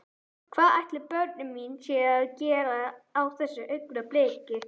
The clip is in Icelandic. Hvað ætli börnin mín séu að gera á þessu augnabliki?